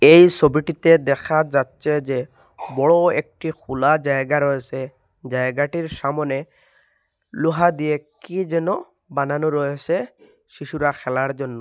এই সোবিটিতে দেখা যাচ্ছে যে বড় একটি খুলা জায়গা রয়েসে জায়গাটির সামোনে লোহা দিয়ে কে যেন বানানো রয়েসে শিশুরা খেলার জন্য।